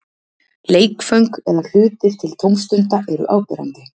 Leikföng eða hlutir til tómstunda eru áberandi.